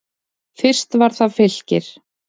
Fyrst var það Fylkir.